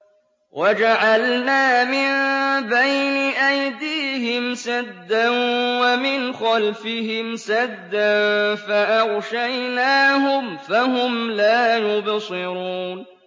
وَجَعَلْنَا مِن بَيْنِ أَيْدِيهِمْ سَدًّا وَمِنْ خَلْفِهِمْ سَدًّا فَأَغْشَيْنَاهُمْ فَهُمْ لَا يُبْصِرُونَ